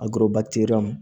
A